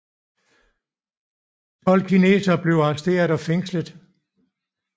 Tolv kinesere blev arresteret og fængslet